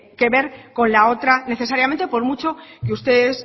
que ver con la otra necesariamente por mucho que ustedes